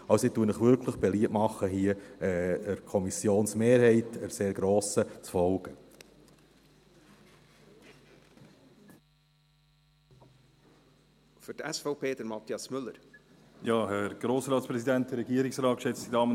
Also: Ich mache Ihnen wirklich beliebt, hier dieser – sehr grossen – Kommissionsmehrheit zu folgen.